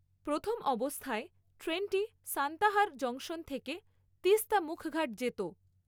প্রথম অবস্থায় ট্রেনটি সান্তাহার জংশন থেকে তিস্তা মুখঘাট যেতো।